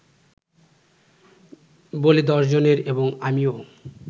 বলে দশজনে এবং আমিও